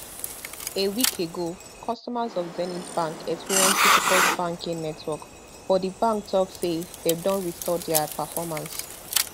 a week ago customers of zenith bank experience difficult banking network but di bank tok say dem don restore dia performance